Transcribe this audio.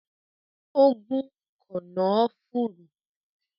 Ó gún “kànnàánfùrù”.